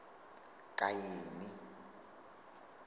kaini